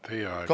Teie aeg!